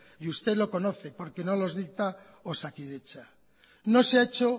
y usted lo conoce porque no los dicta osakidetza no se ha hecho